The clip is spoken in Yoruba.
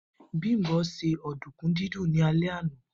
Bimpe ṣe ọ̀dùnkún dídún ní alẹ́ àná.